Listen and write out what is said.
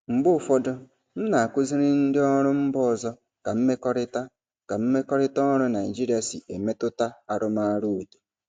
Mgbe ụfọdụ, m na-akụziri ndị ọrụ mba ọzọ ka mmekọrịta ka mmekọrịta ọrụ Naijiria si emetụta arụmọrụ otu.